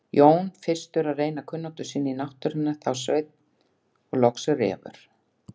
Jón fyrstur að reyna kunnáttu sína á náttúrunni, þá Sveinn og loks Refur.